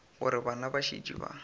gore bana ba šetše ba